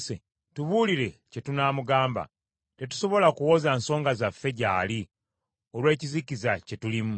“Tubuulire kye tunaamugamba; tetusobola kuwoza nsonga zaffe gy’ali olw’ekizikiza kye tulimu.